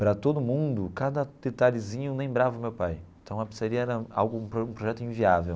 Para todo mundo, cada detalhezinho lembrava o meu pai, então a pizzaria era algo um projeto inviável.